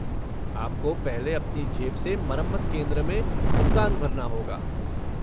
आपको पहले अपनी जेब से मरम्मत केंद्र में भुगतान भरना होगा।